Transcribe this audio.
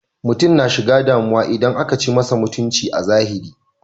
Mutum na shiga damu idan akan ci masa mutunci a zahiri.